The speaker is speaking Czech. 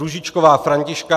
Růžičková Františka